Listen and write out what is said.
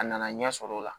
A nana ɲɛ sɔrɔ o la